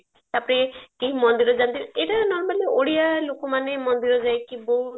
ତାପରେ କେହି ମନ୍ଦିର ଯାଆନ୍ତି ଏଇଟା normally ଓଡିଆ ଲୋକମାନେ ମନ୍ଦିର ଯାଇକି ବହୁତ